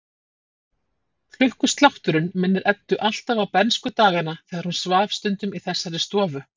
Klukkuslátturinn minnir Eddu alltaf á bernskudagana þegar hún svaf stundum í þessari stofu.